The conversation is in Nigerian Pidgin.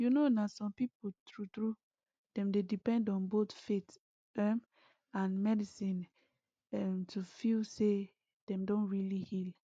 you know na some people true true dem dey depend on both faith um and medicine um to feel say dem don really heal